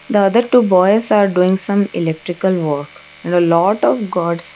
the other two boys are doing some electrical work and a lot of gods.